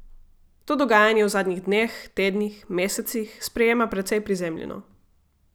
To dogajanje v zadnjih dneh, tednih, mesecih sprejema precej prizemljeno.